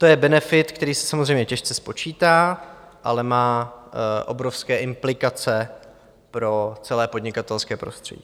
To je benefit, který se samozřejmě těžce spočítá, ale má obrovské implikace pro celé podnikatelské prostředí.